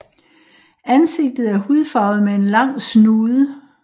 Ansigtet er hudfarvet med en lang snude